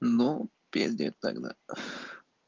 ну пиздец тогда